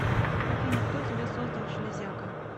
афина кто тебя создал железяка